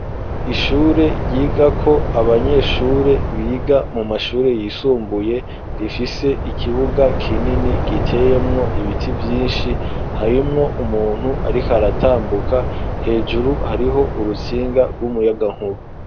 Ishure, ryigako abanyeshure, biga mu mashure yisumbuye; rifise ikibuga kinini, giteyemwo ibiti vyinshi, harimwo umuntu, ariko aratambuka; hejuru, hariho urutsinga rw'umuyagankuba.